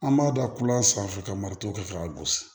An b'a da kula sanfɛ ka mariton kɛ k'a gosi